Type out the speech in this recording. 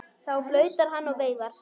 Þá flautar hann og veifar.